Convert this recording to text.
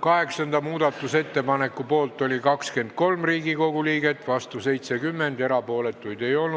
Kaheksanda muudatusettepaneku poolt oli 23 ja vastu 70 Riigikogu liiget, erapooletuid ei olnud.